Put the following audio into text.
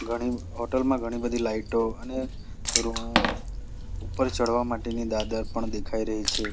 ઘણી હોટલ માં ઘણી બધી લાઇટો અને રૂમ ઉપર ચડવા માટેની દાદર પણ દેખાઈ રહી છે.